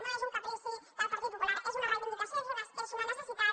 no és un caprici del partit popular és una reivindicació és una necessitat